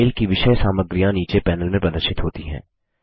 mail की विषय-साम्रगियाँ नीचे पैनल में प्रदर्शित होती हैं